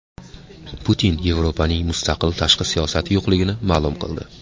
Putin Yevropaning mustaqil tashqi siyosati yo‘qligini ma’lum qildi.